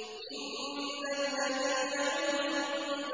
إِنَّ الَّذِينَ عِندَ